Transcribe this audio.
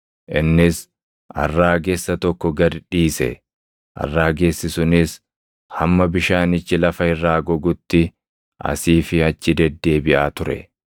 innis arraagessa tokko gad dhiise; arraagessi sunis hamma bishaanichi lafa irraa gogutti asii fi achi deddeebiʼaa ture.